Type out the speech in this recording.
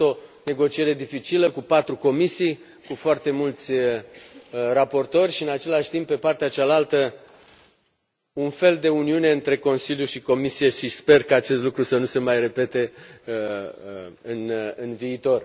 A fost o negociere dificilă, cu patru comisii, cu foarte mulți raportori și, în același timp, pe partea cealaltă, a fost un fel de uniune între Consiliu și Comisie și sper ca acest lucru să nu se mai repete în viitor.